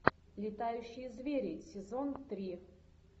летающие звери сезон три